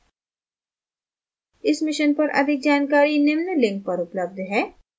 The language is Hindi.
इस mission पर अधिक जानकारी निम्न लिंक पर उपलब्ध है